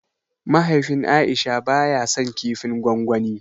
Mahaifin aisha ba ya san kifin gwangwani